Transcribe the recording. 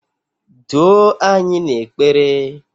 duo anyị n'ekpere!